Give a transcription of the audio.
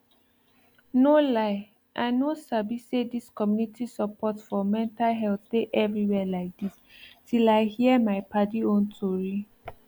no lie i no sabi say dis community support for mental health dey everywhere like dis till i hear my padi own tori